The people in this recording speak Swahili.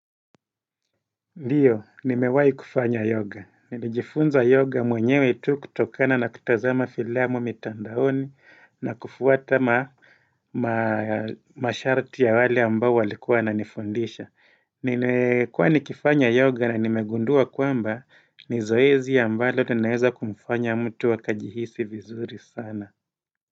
Ndio, nimewai kufanya yoga. Nijifunza yoga mwenyewe tu kutokana na kutazama filamu mitandaoni na kufuata masharti ya wale ambao walikuwa wananifundisha. Ninaekuwa nikifanya yoga na nimegundua kwamba ni zoezi ambalo tunayeza kumufanya mtu wakajihisi vizuri sana.